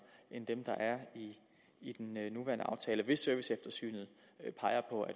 end dem der er i den nuværende aftale hvis serviceeftersynet peger på at